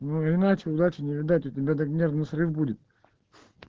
ну иначе удачи не видать у тебя так нервный срыв будет